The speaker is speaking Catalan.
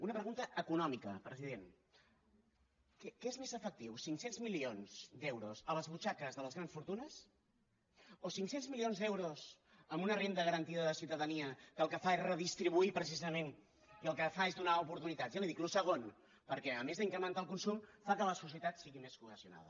una pregunta econòmica president què és més efectiu cinc cents milions d’euros a les butxaques de les grans fortunes o cinc cents milions d’euros en una renda garantida de ciutadania que el que fa és redistribuir precisament i el que fa és donar oportunitats jo li ho dic el segon perquè a més d’incrementar el consum fa que la societat sigui més cohesionada